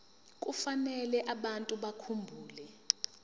kufanele abantu bakhumbule